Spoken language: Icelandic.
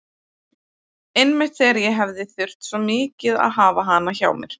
Einmitt þegar ég hefði þurft svo mikið að hafa hana hjá mér.